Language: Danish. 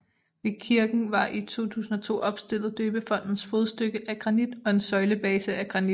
Ved kirken var i 2002 opstillet døbefontens fodstykke af granit og en søjlebase af granit